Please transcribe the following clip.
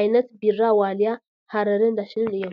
ዓይነት ቢራ ዋልያ፣ ሐረርን ዳሽንን እዮም፡፡